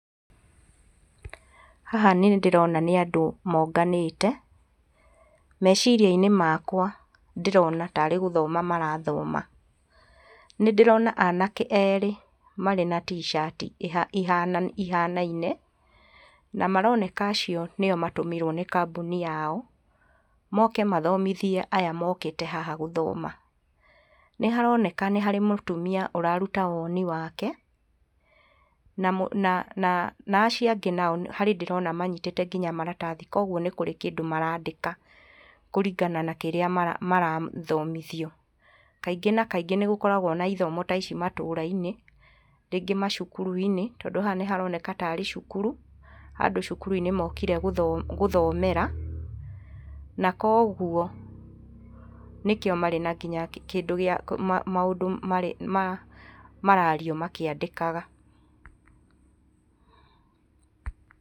Haha nĩndĩrona nĩ andũ monganĩte. Meciria-inĩ makwa ndĩrona tarĩ gũthoma marathoma. Nĩndĩrona anake erĩ marĩ na t-shirt i ihanaine na maroneka acio nĩo matũmirwo nĩ kambũni yao moke mathomithie aya mokĩte haha gũthoma. Nĩharoneka nĩ harĩ mũtumia ũraruta woni wake, na na na acio angĩ nao harĩ ndĩrona manyitĩte nginya maratathi, koguo nĩ kũrĩ kĩndũ marandĩka kũringana na kĩrĩa marathomithio. Kaingĩ na kaingĩ nĩgũkoragwo na ithomo ta ici matũra-inĩ, rĩngĩ macukuru-inĩ, tondũ haha nĩharoneka tarĩ cukuru, handũ cukuru-inĩ mokire gũthomera, na koguo nĩkĩo marĩ nginya kĩndũ gĩa, maũndũ marario makĩandĩkaga.